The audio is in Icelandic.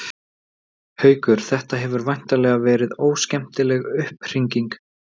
Haukur: Þetta hefur væntanlega verið óskemmtileg upphringing?